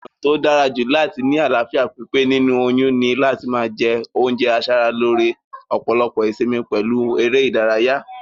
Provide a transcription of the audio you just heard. Ònà tó dárajù láti ni àláfíà pípé nínú oyún ni láti ma je oúnje asaralóre, òpòlopò ìsimi pèlu eré ìdárayá